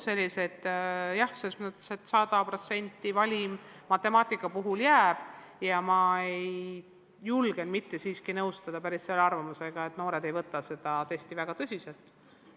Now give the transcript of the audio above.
100%-line valim matemaatika puhul jääb ja ma julgen siiski mitte nõustuda arvamusega, et noored ei võta seda testi kuigi tõsiselt.